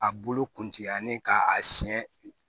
A bolo kuntigɛlen k'a siɲɛ